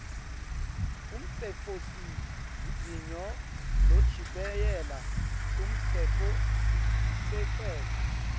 umtsetfosivivinyo lochibiyela umtsetfosisekelo